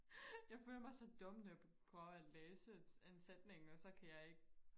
jeg føler mig så dum når jeg prøver og læse en en sætning og så kan jeg ikke